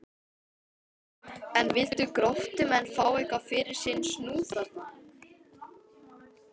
En vildu Gróttumenn fá eitthvað fyrir sinn snúð þarna?